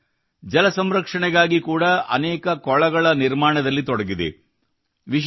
ಈ ತಂಡ ಜಲ ಸಂರಕ್ಷಣೆಗಾಗಿ ಕೂಡಾ ಅನೇಕ ಕೊಳಗಳ ನಿರ್ಮಾಣದಲ್ಲಿ ತೊಡಗಿದೆ